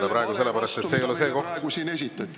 Ma protestin selle vale vastu, mida meile siin praegu esitati.